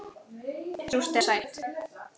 Súrt eða sætt.